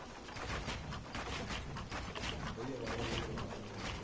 ਤੇਰੀ ਆਵਾਜ ਆਏਗੀ ਤੈਨੂੰ ਬੋਲਾ ਲੈਣ ਗਏ ਯਾਰ।